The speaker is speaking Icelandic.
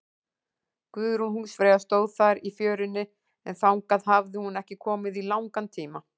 Guðrún húsfreyja stóð þar í fjörunni, en þangað hafði hún ekki komið í langan tíma.